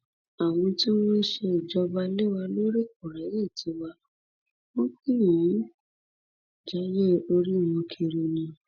àwọn tí wọn sì ń ṣèjọba lé wa lórí kò ráàyè tíwà wọn kàn ń jayé orí wọn kiri ni